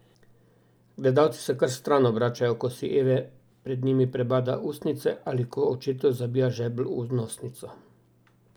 Gledalci se kar stran obračajo, ko si Eve pred njimi prebada ustnice ali ko očetu zabija žebelj v nosnico.